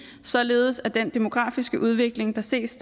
således at den demografiske udvikling der ses